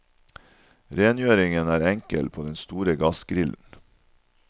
Rengjøringen er enkel på den store gassgrillen.